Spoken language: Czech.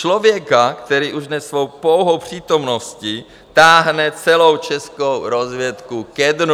Člověka, který už dnes svou pouhou přítomností táhne celou českou rozvědku ke dnu.